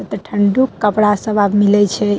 एता ठंडो के कपड़ा सब आब मिले छै।